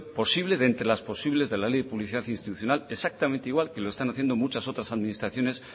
posible de entre las posibles de la ley de publicidad institucional exactamente igual que lo están haciendo muchas otras administraciones